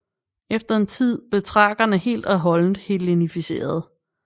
Efter en tid blev thrakerne helt og holdent hellenificerede